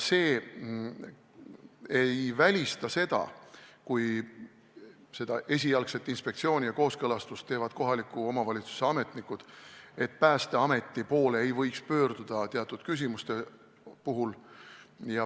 See ei välista seda, et kui esialgse inspektsiooni ja kooskõlastuse teevad kohaliku omavalitsuse ametnikud, siis ei või teatud küsimustes pöörduda Päästeameti poole.